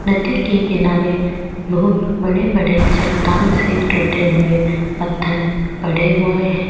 नदी के किनारे बहुत बड़े बड़े चट्टान से टूटे हुए पत्थर पड़े हुए है।